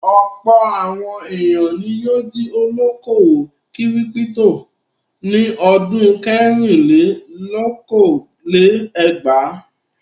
Ọ̀pọ̀ àwọn ènìyàn ni yóò di olókòwò kírípító ní ọdún kẹrìnlélókòó-lé-ẹgvàá..